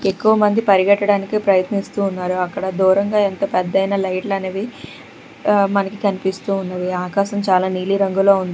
ఎక్కువమంది పరిగెట్టడానికి ప్రయత్నిస్తూ ఉన్నారు అక్కడ దూరంగా ఎంత పెద్ద అయినా లైట్ అనేది ఉ మనకి కనిపిస్తూ ఉన్నది ఆకాశం చాలా నీలిరంగులో ఉంది.